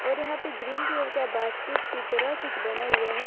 और यहां पे ग्रीन कलर का बास्केट के तरह कुछ बना हुआ हैं।